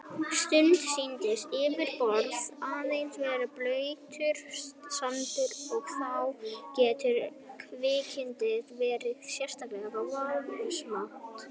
Stundum sýnist yfirborðið aðeins vera blautur sandur og þá getur kviksyndið verið sérlega varasamt.